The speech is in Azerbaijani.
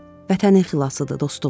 Vətənin xilasıdır, dostum.